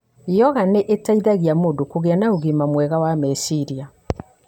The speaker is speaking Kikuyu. Yoga nĩ ĩteithagia mũndũ kũgĩa na ũgima mwega wa meciria.